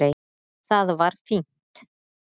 Það var fínt.